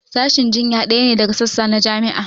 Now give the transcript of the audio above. Sashin jinya ɗaya ne daga sassa na jami'a